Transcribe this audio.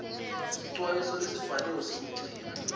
sicwayiso lesibhaliwe sekugcina